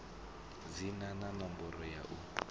dzina na ṋomboro ya u